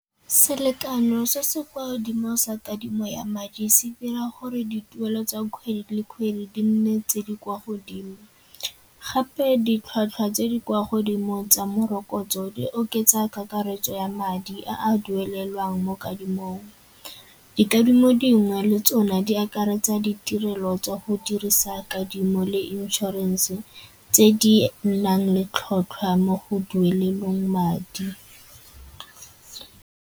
Selekano se se kwa godimo sa kadimo ya madi se dira gore dituelo tsa kgwedi le kgwedi di nne tse di kwa godimo. Gape ditlhwatlhwa tse di kwa godimo tsa morokotso di oketsa kakaretso ya madi a a duelelwang mo kadimong. Dikadimo dingwe le tsona di akaretsa ditirelo tsa go dirisa kadimo le inšorense tse di nang le tlhotlhwa mo go duelelweng madi.